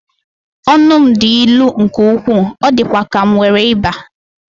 Ọnụ m dị ilu nke ukwuu, ọ dịkwa ka m nwere ịba.